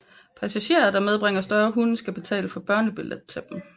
Passagerer der medbringer større hunde skal betale for børnebilletter til dem